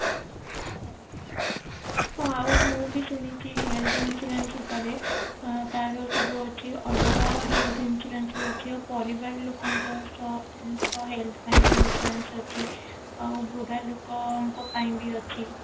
ହଁ ଆଉ ମୁଁ ବି ଶୁଣିଛି health insurance ଉପରେ ଅ ତାର ସବୁ ଅଛି ଅଲଗା health insurance ବି ଅଛି ଆଉ ପରିବାର ଲୋକଙ୍କ ସହ ତାଙ୍କ health ପାଇଁ ବି insurance ଅଛି ଆଉ ବୁଢା ଲୋକଙ୍କ ପାଇଁ ବି ଅଛି